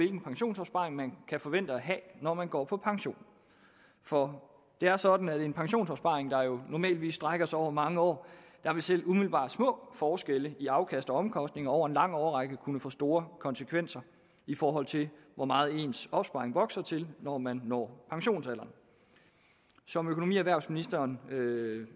en pensionsopsparing man kan forvente at have når man går på pension for det er sådan at i en pensionsopsparing der jo normalt strækker sig over mange år vil selv umiddelbart små forskelle i afkast og omkostninger over en lang årrække kunne få store konsekvenser i forhold til hvor meget ens opsparing er vokset til når man når pensionsalderen som økonomi og erhvervsministeren